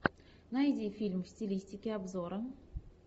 найди фильм в стилистике обзора